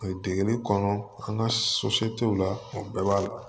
Degeli kɔnɔ an ka la o bɛɛ b'a la